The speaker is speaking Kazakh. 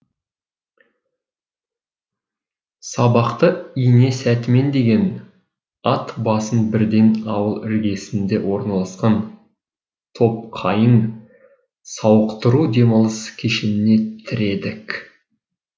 сабақты ине сәтімен деген ат басын бірден ауыл іргесінде орналасқан топқайың сауықтыру демалыс кешеніне тіредік